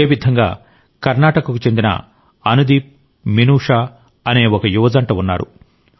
ఇదేవిధంగా కర్ణాటకకు చెందిన అనుదీప్ మినుషా అనే ఒక యువ జంట ఉన్నారు